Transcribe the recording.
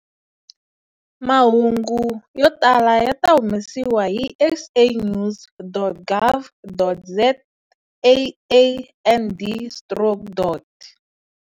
Mahungu yo tala ya ta humesiwa hi sanews.gov.zaand stroke.